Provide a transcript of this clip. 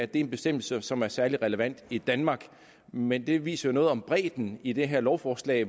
det er en bestemmelse som er særlig relevant i danmark men det viser jo noget om bredden i det her lovforslag